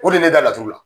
O de ye ne da laturu la